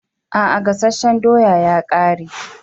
A'a, gasasshen doya a gama.